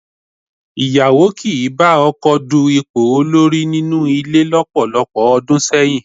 Ìyàwó kì í bá ọkọ du ipò orí nínú ilé lọ́pọ̀lọpọ̀ ọdún sẹ́yìn